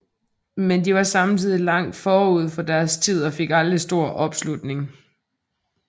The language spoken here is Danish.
Men de var samtidig langt forud for deres tid og fik aldrig stor opslutning